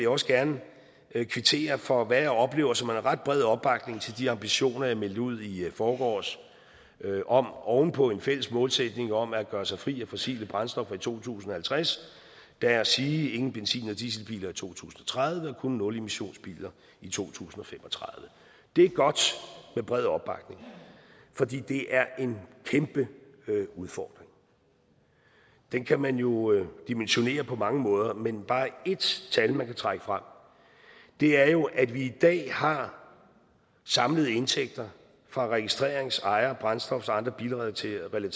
også gerne kvittere for hvad jeg oplever som en ret bred opbakning til de ambitioner jeg meldte ud i forgårs om oven på en fælles målsætning om at gøre sig fri af fossile brændstoffer i to tusind og halvtreds da at sige ingen benzin og dieselbiler i to tusind og tredive og kun nulemissionsbiler i to tusind og fem og tredive det er godt med bred opbakning fordi det er en kæmpe udfordring den kan man jo dimensionere på mange måder men bare et tal man kan trække frem er jo at vi i dag har samlede indtægter fra registrerings ejer brændstofs og andre bilrelaterede